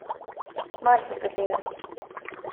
Marsikatere.